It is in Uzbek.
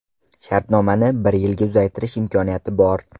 Shartnomani bir yilga uzaytirish imkoniyati bor.